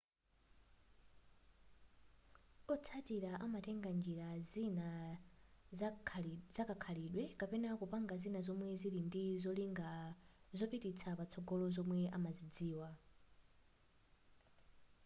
otsatira amatenga njira zina zakakhalidwe kapena kupanga zina zomwe zili ndi zolinga zopititsa patsogolo zomwe amazidziwa